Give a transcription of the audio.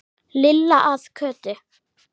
Lilla að Kötu.